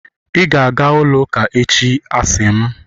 ị ga-aga ụlọ ụka echi, a sị m!